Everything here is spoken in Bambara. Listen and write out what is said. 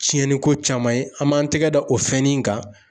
Tiɲɛniko caman ye, an b'an tɛgɛ da o fɛn nin kan.